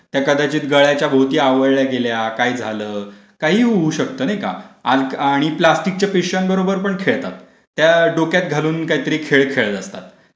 त्या कदाचित गळ्याच्या भोवती आवळल्या गेल्या, काही झालं, काहीही होऊ शकते, नाही का? आज आणि प्लॅस्टिक च्या पिशव्यांबरोबर पण खेळतात. त्या डोक्यात घालून काहीतरी खेळ खेळत असतात.